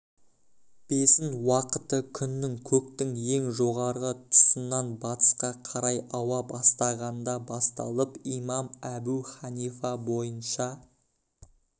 бесін уақыты күннің көктің ең жоғары тұсынан батысқа қарай ауа бастағанда басталып имам әбу ханифа бойынша